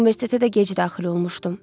Universitetə də gec daxil olmuşdum.